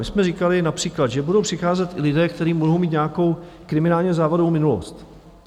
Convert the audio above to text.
My jsme říkali například, že budou přicházet i lidé, kteří mohou mít nějakou kriminálně závadovou minulost.